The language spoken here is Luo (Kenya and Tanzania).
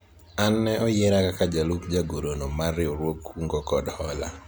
an ne oyiera kaka jalup jagoro no mar riwruog kungo kod hola